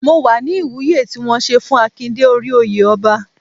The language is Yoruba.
Mo wà ní Ìwúye tí wọ́n ṣe fún Akin dé orí oyè ọba.